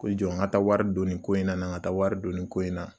Ko i jɔ n ka taa wari don nin ko in na, n ka taa wari do nin ko in na..